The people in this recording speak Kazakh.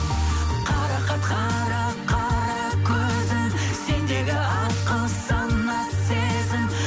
қарақат қара қара көзің сендегі ақыл сана сезім